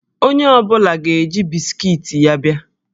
Onye ọ bụla ga-eji bisikiiti ya a bịa